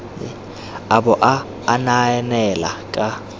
a bo a anaanela ka